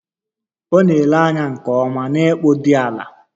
Ọ na-ele anya nke ọma na ịkpụ dị ala